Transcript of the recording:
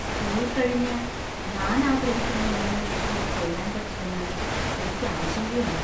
School കഴിഞ്ഞ് ഞാൻ ആഗ്രഹിക്കുന്ന യൂണിവേഴ്സിറ്റിയിൽ ചേരാൻ പറ്റില്ലെന്ന് എനിക്ക് ആശങ്കയുണ്ട്.